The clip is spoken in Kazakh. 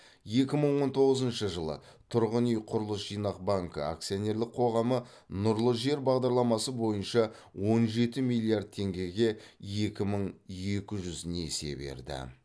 екі мың он тоғызыншы жылы тұрғын үй құрылыс жинақ банкі акционерлік қоғамы нұрлы жер бағдарламасы бойынша он жеті миллиард теңгеге екі мың екі жүз несие берді